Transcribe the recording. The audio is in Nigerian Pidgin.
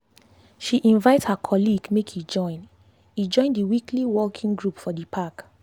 she invite her colleague make e join e join the weekly walking group for the park.